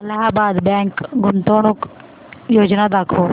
Allahabad bank गुंतवणूक योजना दाखव